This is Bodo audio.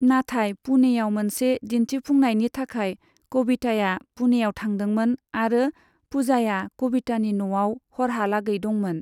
नाथाय पुणेयाव मोनसे दिन्थिफुंनायनि थाखाय कविताया पुणेयाव थांदोंमोन आरो पूजाया कवितानि न'आव हरहालागै दंमोन।